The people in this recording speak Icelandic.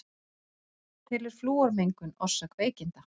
Telur flúormengun orsök veikinda